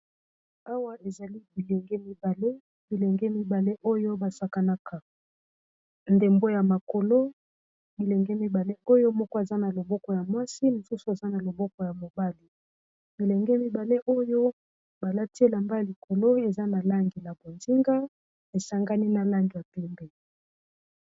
Awa ezali bilenge mibale bilenge mibale oyo basakanaka ndembo ya makolo bilenge mibale oyo moko aza na loboko ya mwasi mosusu aza na loboko ya mobali bilenge mibale oyo balati elamba ya likolo eza na langi na bonzinga esangani na langi ya pembe.